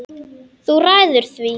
Þú ræður því.